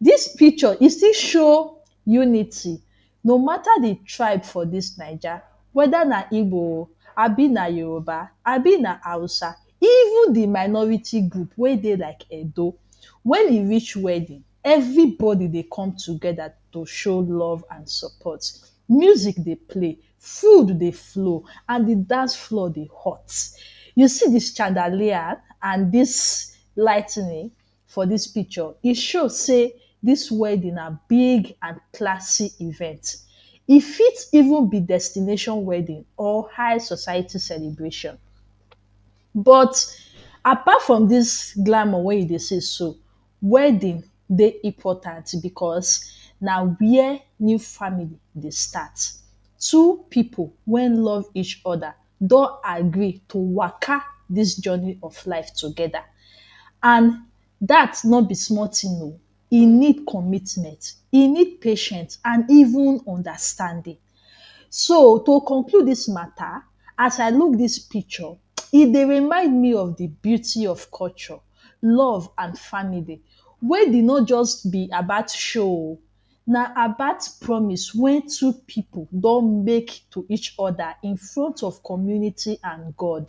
Dis picture, e still show unity. No mata de tribe for dis Naija, whether na Igbo, abi na Yoruba, abi na Hausa, even de minority group wey dey like Edo, when e reach wedding, everybody dey come together to show love and support. Music dey play, food dey flow and de dancefloor dey hot. You see dis chandelier and dis ligh ten ing for dis picture, e show sey dis wedding na big and classy event. E fit even be destination wedding or high society celebration. But apart from dis glamour wey you dey see so, wedding dey important because na where new family dey start. Two pipu wey love each other don agree to waka dis journey of life together. And dat no be small thing o! E need commitment, e need patient and even understanding. So, to conclude dis mata, as I look dis picture, um e dey remind me of the beauty of culture, love and family. Wedding no just be about show o! Na about promise wey two pipu don make to each other in front of community and God.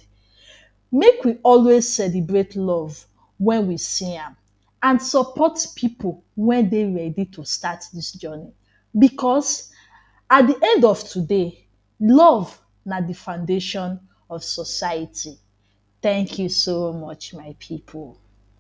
Make we always celebrate love when we see am and support pipu wey dey ready to start dis journey. Because at de end of today, love na de foundation of society. Thank you so much my pipu!